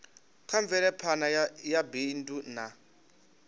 kha mvelaphana ya bindu na